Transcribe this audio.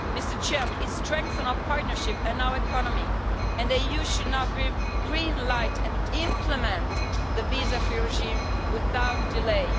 It has strengthened our partnership and our economy, and the EU should now give the green light and implement the visa free regime without delay.